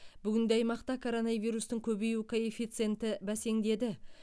бүгінде аймақта коронавирустың көбею коэффициенті бәсеңдеді